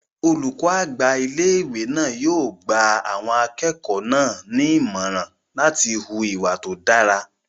Olùkọ́ àgbà ilé-ìwé náà yóò gba àwọn akẹ́kọ̀ọ́ náà ní ìmọ̀ràn láti hu ìwà tó dára